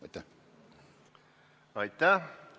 Aitäh!